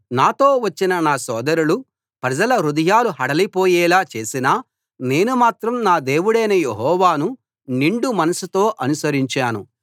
నాతో వచ్చిన నా సోదరులు ప్రజల హృదయాలు హడలిపోయేలా చేసినా నేను మాత్రం నా దేవుడైన యెహోవాను నిండు మనస్సుతో అనుసరించాను